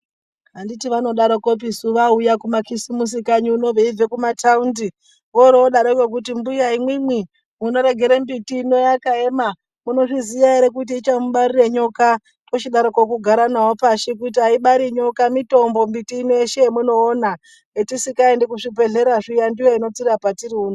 Anditi vanodaroko vauya kumakisimusi kanyi unono veibva kumataundi vorodaroko veiti mbuya imwimwi munorekera mbiti inoi yakaema munozviziva ere kuti ichamubarira nyoka tochidaroko kugara navo pashi kuti aibari nyoka mitombo miti yeshe yamunoona zvatisingaendi kuzvibhedhlera ndiyo inotirapa riri uno.